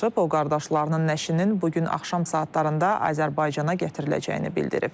O qardaşlarının nəşinin bu gün axşam saatlarında Azərbaycana gətiriləcəyini bildirib.